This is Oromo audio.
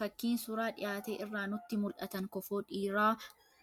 Fakiin suuraa dhiyaate irraa nutti mul'atan kofoo dhiiraa